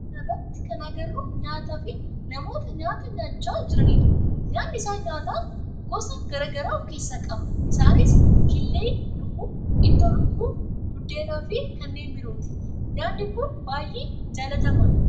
Suuraa kana irratti kan agarru nyaata fi namoota nyaata nyaachaa jiranidha. Nyaanni isaan nyaata gosa garaa garaa of keessaa qaba isaanis; killee lukkuu, ittoo lukkuu, buddeen fi kanneen birooti. Nyaanni kun baayyee jaalatamaadha.